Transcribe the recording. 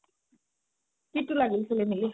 কিতো লাগিল সেলি মেলি